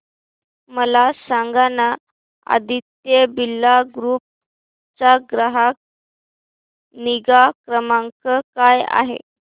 मला सांगाना आदित्य बिर्ला ग्रुप चा ग्राहक निगा क्रमांक काय आहे